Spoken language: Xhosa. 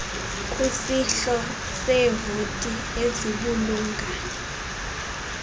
kwisihlo seevoti ezibulunga